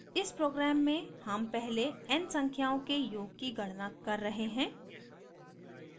इस program में sum पहले n संख्याओं के योग की गणना कर रहे हैं